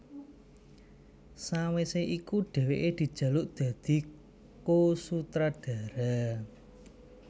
Sawisé iku dhèwèké dijaluk dadi ko sutradara